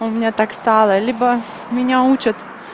у меня так стало либо меня учат